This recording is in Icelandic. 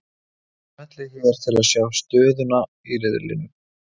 Smellið hér til að sjá stöðuna í riðlunum